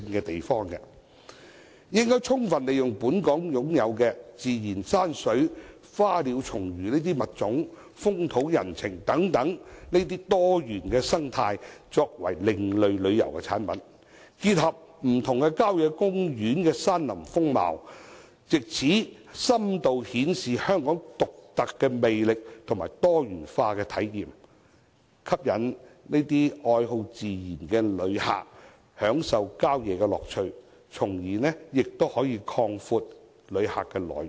我們應充分利用本港擁有的自然山水、花鳥蟲魚等物種、風土人情等多元生態作為另類旅遊產品，結合不同郊野公園的山林風貌，藉此深度顯示香港獨特的魅力和多元化體驗，吸引愛好自然的旅客享受郊野樂趣，從而擴闊旅客的來源。